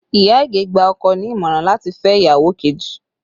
Iya Ige gba ọkọ ní ìmọ̀ràn láti fẹ́ ìyàwó kejì